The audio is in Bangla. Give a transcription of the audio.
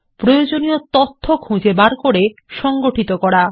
প্রয়োজনীয় তথ্য খুঁজে বের করে সংগঠিত করা